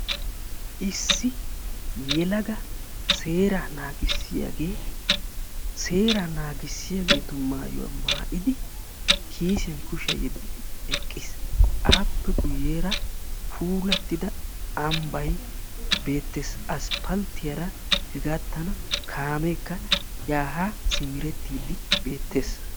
Issi yelaga seeraa naagissiyagee seeraa naagissiyageetu maayuwa maayidi kiisiyan kushiya yeddidi eqqis. Appe guyyeera puulattida ambbayi be'eettes. Asppalttiyara hegaattan kaameekka yaa haa simerettiiddi beettes.